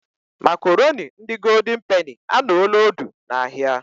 Makoroni ndi goldin peni anoola odu n'ahia